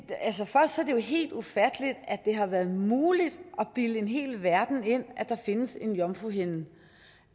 er helt ufatteligt at det har været muligt at bilde en hel verden ind at der findes en jomfruhinde